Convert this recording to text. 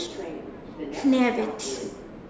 Hnefill